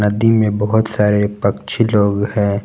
नदी में बहुत सारे पक्षी लोग हैं।